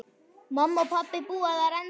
Pabbi og mamma búa þar ennþá.